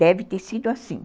Deve ter sido assim.